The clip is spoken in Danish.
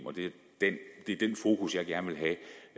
det er den fokus jeg gerne vil have